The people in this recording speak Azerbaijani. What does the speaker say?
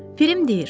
Pirim deyir: